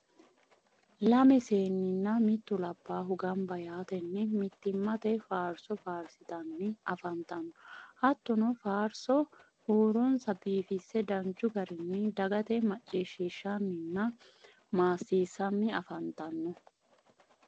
lame seeninna mittu labbahu gamba yaatenni mittimate faarso faarsitanni afantanno. hattonni faarso huuronsa biifisse danchu garinni dagate maccishiishanninna maasiisanni afantanno.